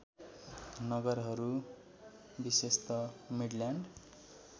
नगरहररू विशेषत मिडल्यान्ड